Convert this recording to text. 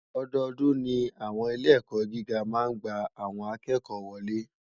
Òdòdún ni áwòn ilé èkò gigá má n gbá áwòn àkèkò wòlé